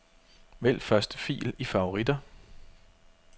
Vælg første fil i favoritter.